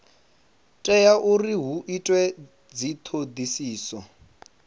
tea uri hu itwe dzithodisiso